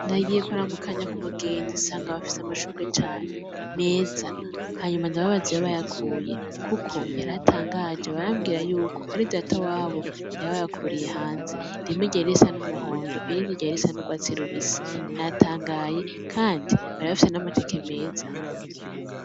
Nagiye kuramukanya ku mugenzi nsanga bafise amashurwe cane meza, hanyuma ndababaza iyo bayakuye kuko yari antangaje, barambwira yuko ari data wabo yabayakuriye hanze, rimwe ryari risa n'umuhondo, irindi ryari risa n'urwati rubisi natangaye kandi bari bafise n'amateke meza.